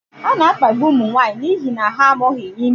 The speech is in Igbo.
A na-akpagbu ụmụ nwanyị n'ihi na ha amụghị ime.